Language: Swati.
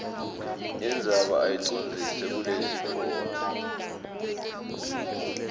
indzaba uyicondzise kulesitfombe